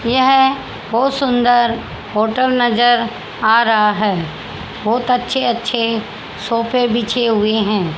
यह है बहोत सुंदर होटल नजर आ रहा है बहोत अच्छे अच्छे सोफे बिछे हुए हैं।